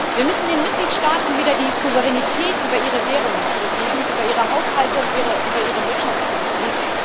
Wir müssen den Mitgliedstaaten wieder die Souveränität über ihre Währungen zurückgeben, über ihre Haushalte und über ihre Wirtschaftspolitik.